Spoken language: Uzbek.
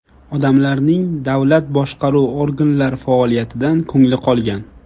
Odamlarning davlat boshqaruv organlar faoliyatidan ko‘ngli qolgan.